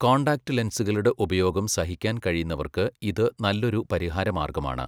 Contact ലെൻസുകളുടെ ഉപയോഗം സഹിക്കാൻ കഴിയുന്നവർക്ക് ഇത് നല്ലൊരു പരിഹാര മാർഗമാണ്.